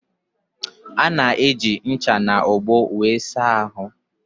Ana eji ncha na ogbo wéré asa ahụ